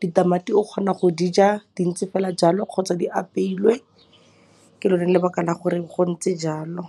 Ditamati o kgona go di ja dintse fela jalo kgotsa di apeilwe, ke lone lebaka la gore go ntse jalo.